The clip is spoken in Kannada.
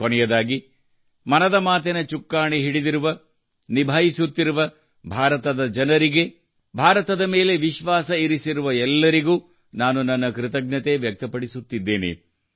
ಕೊನೆಯದಾಗಿ ಮನದ ಮಾತಿನ ಚುಕ್ಕಾಣಿ ಹಿಡಿದಿರುವ ನಿಭಾಯಿಸುತ್ತಿರುವ ಭಾರತದ ಜನರಿಗೆ ಭಾರತದ ಮೇಲೆ ವಿಶ್ವಾಸ ಇರಿಸಿರುವ ಎಲ್ಲರಿಗೂ ನಾನು ನನ್ನ ಕೃತಜ್ಞತೆ ವ್ಯಕ್ತ ಪಡಿಸುತ್ತಿದ್ದೇನೆ